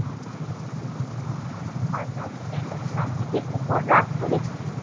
আজাদ কেন গান্ধীজীর উপর রাগ করেছিল?